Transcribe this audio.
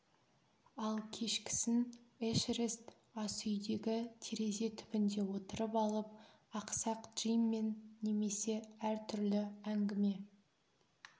ал кешкісін эшерест асүйдегі терезе түбінде отырып алып ақсақ джиммен немесе әр түрлі әңгіме